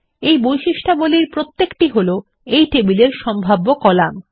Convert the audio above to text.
এই বৈশিষ্ট্যাবলীর প্রত্যেকটি হলো এই টেবিল সম্ভাব্য কলাম